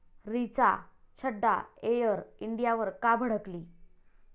Richa Chadha air इंडियावर का भडकली?